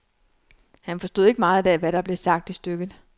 Han forstod ikke meget af, hvad der blev sagt i stykket.